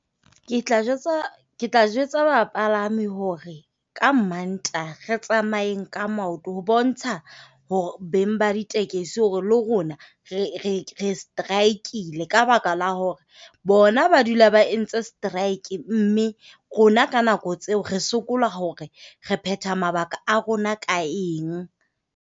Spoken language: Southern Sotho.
Ke tla jwetsa ke tla jwetsa bapalami hore, ka Mantaha re tsamayeng ka maoto ho bontsha hore beng ba ditekesi hore le rona re re re strike-ile ka baka la hore. Bona ba dula ba entse strike mme rona ka nako tseo re sokola hore re phetha mabaka a rona ka eng.